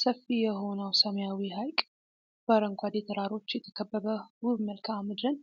ሰፊ የሆነው ሰማያዊ ሐይቅ በአረንጓዴ ተራሮች የተከበበ ውብ መልክዓ ምድርን